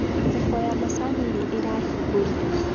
thoko ya macanĩ nĩ ĩrahingũrirwo